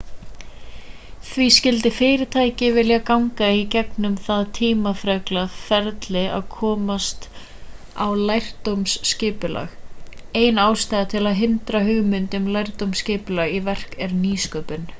því skyldi fyrirtæki vilja ganga í gegnum það tímafreka ferli að koma á lærdómsskipulagi ein ástæða til að hrinda hugmyndum um lærdómsskipulag í verk er nýsköpun